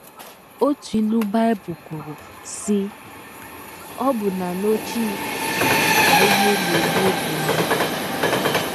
Otu ilu Bible kwuru, sị: “ Ọbụna n’ọchị ka ihe na - egbu obi mgbu. ”